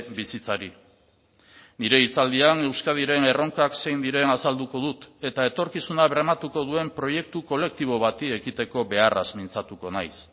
bizitzari nire hitzaldian euskadiren erronkak zein diren azalduko dut eta etorkizuna bermatuko duen proiektu kolektibo bati ekiteko beharraz mintzatuko naiz